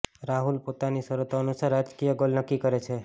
રાહુલ પોતાની શરતો અનુસાર રાજકીય ગોલ નક્કી કરે છે